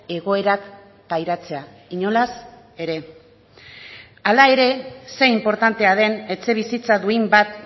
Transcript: egoerak pairatzea inolaz ere hala ere ze inportantea den etxebizitza duin bat